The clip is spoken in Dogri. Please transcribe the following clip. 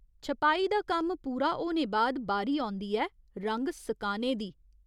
छपाई दा कम्म पूरा होने बाद बारी औंदी ऐ रंग सकाने दी।